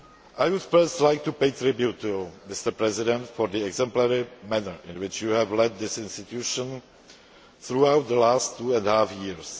I would first like to pay tribute to you, Mr President, for the exemplary manner in which you have led this institution throughout the last two and a half years.